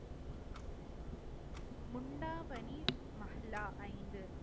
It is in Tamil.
முண்டாமணி மகிளா ஐந்து